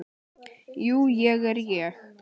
Jú, ég er ég.